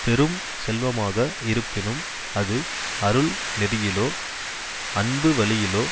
பெரும் செல்வமாக இருப்பினும் அது அருள் நெறியிலோ அன்பு வழியிலோ